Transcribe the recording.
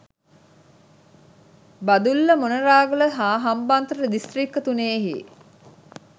බදුල්ල මොණරාගල හා හම්බන්තොට දිස්ත්‍රික්ක තුනෙහි